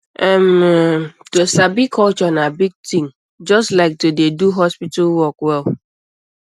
um erm to sabi culture na big thing um just like um to dey do hospital work well